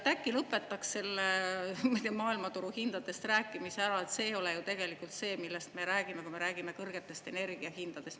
Äkki lõpetaks selle maailmaturuhindadest rääkimise ära, see ei ole ju tegelikult see, millest me räägime, kui me räägime kõrgetest energiahindadest.